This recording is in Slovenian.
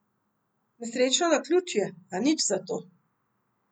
Nesrečno naključje, a nič zato.